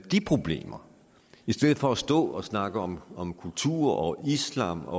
de problemer i stedet for at stå og snakke om om kultur og islam og